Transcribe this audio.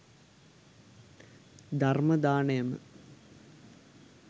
ධර්ම දානයම